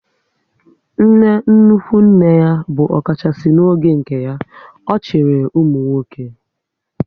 Nne nnukwu nne ya bụ ọkachasị n'oge nke ya, ọ chịrị ụmụnwoke